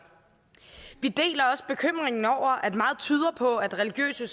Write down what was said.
vi deler også bekymringen over at meget tyder på at religiøse